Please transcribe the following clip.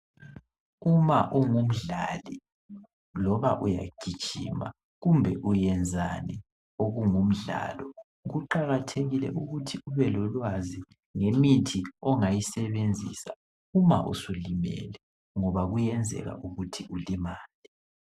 Uma ungumdlali loba uyagijima kumbe uyenzani okungumdlalo. Kuqakathekile ukuthi ubelolwazi ngemithi ongayisebenzisa Uma usulimele ngoba kuyenzeka ukuthi ulimale.